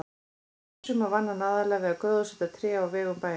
Í fyrrasumar vann hann aðallega við að gróðursetja tré á vegum bæjarins.